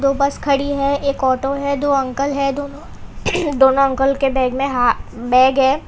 बस खड़ी है एक ऑटो है दो अंकल है दोनों दोनों अंकल के बैग में हा बैग है।